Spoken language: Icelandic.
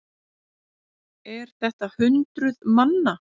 Er þetta hundruð manna?